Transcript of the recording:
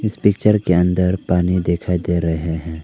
Picture के अंदर पानी दिखाई दे रहे हैं।